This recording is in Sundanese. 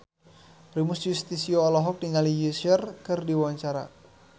Primus Yustisio olohok ningali Usher keur diwawancara